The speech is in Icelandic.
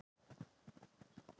Vegir á láglendi eru auðir